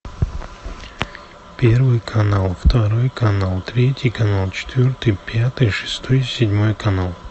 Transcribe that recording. первый канал второй канал третий канал четвертый пятый шестой седьмой канал